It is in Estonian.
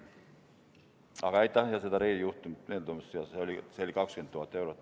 Aga aitäh seda Rey juhtumit meelde tuletamast, see läks maksma tõesti 20 000 eurot.